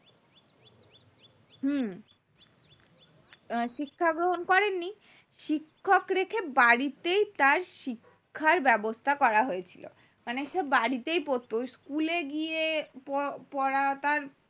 হম school এ গিয়ে প পড়া তার